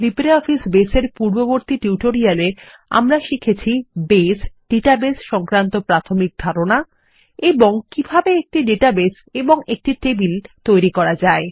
LibreOffice Base এর পূর্ববর্তী টিউটোরিয়ালে আমরা শিখেছি বেস ডাটাবেস সংক্রান্ত প্রাথমিক ধারণা এবং কিভাবে একটি ডাটাবেস এবং একটি টেবিল তৈরি করা যায়